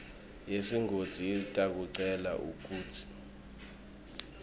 yesigodzi itakucela kutsi